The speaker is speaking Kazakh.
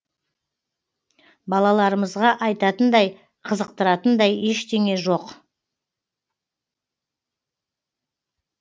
балаларымызға айтатындай қызықтыратындай ештеңе жоқ